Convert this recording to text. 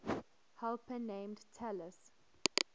helper named talus